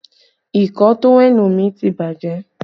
Ìkọ̀ọ́ tówẹ́ẹ̀nù mi ti bàjẹ́